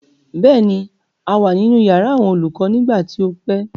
Bẹ́ẹ̀ ni, a wà nínú yàrá àwọn olùkọ nígbà tí o pè.